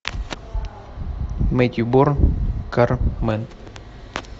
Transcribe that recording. мэтью борн кар мен